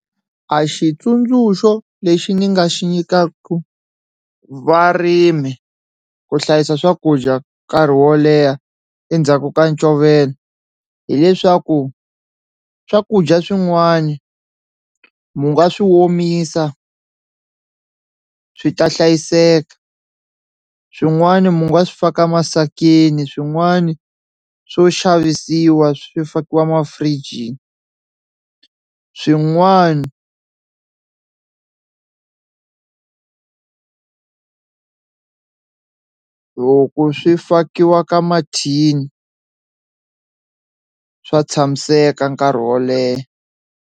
A xitsundzuxo lexi ni nga xi nyikaku varimi ku hlayisa swakudya nkarhi wo leha endzhaku ka ncovelo hileswaku swakudya swin'wani mu nga swi omisa swi ta hlayiseka, swin'wani mi nga swi faka emasikwini swin'wana swo xavisiwa swi fakiwa mafurijini swin'wana loko swi fakiwa ka mathini swa tshamiseka nkarhi wo leha.